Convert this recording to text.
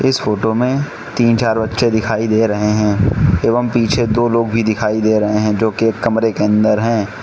इस फोटो मे तीन चार बच्चे दिखाई दे रहे हैं एवम पीछे दो लोग भी दिखाई दे रहे हैं जो के कमरे के अंदर हैं।